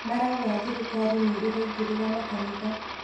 Marauga thirikari nĩ ĩraingĩrĩra makanitha